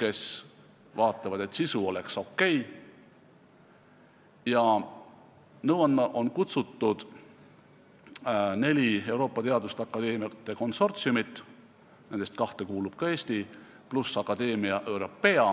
kes vaatavad, et sisu oleks okei, ja nõu andma on kutsutud neli Euroopa teaduste akadeemiate konsortsiumit, nendest kahte kuulub ka Eesti, pluss Academia Europaea.